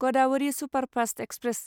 Godavari superfast express